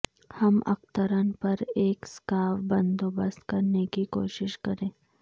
ہم اخترن پر ایک سکارف بندوبست کرنے کی کوشش کریں